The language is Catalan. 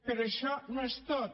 però això no és tot